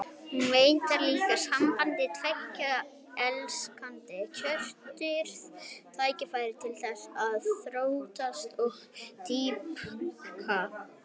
Hún veitir líka sambandi tveggja elskenda kjörið tækifæri til þess að þróast og dýpka.